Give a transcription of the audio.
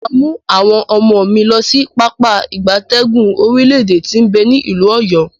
Maa mu awon omo mi losi Pápá ìgbatẹ́gùn orile ede ti n be ni ilu Oyo.